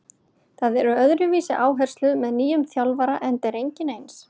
Það eru öðruvísi áherslur með nýjum þjálfara enda er enginn eins.